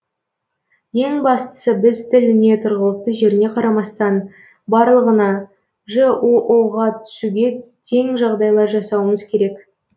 ең бастысы біз тіліне тұрғылықты жеріне қарамастан барлығына жоо ға түсуге тең жағдайлар жасауымыз керек